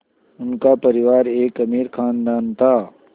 उनका परिवार एक अमीर ख़ानदान था